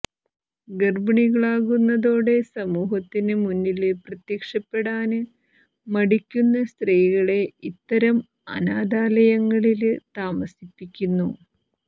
ഗര്ഭിണികളാകുന്നതോടെ സമൂഹത്തിന് മുന്നില് പ്രത്യക്ഷപ്പെടാന് മടിക്കുന്ന സ്ത്രീകളെ ഇത്തരം അനാഥാലയങ്ങളില് താമസിപ്പിക്കുന്നു